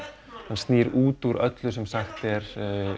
hann snýr út úr öllu sem sagt er